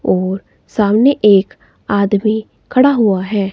और सामने एक आदमी खड़ा हुआ है।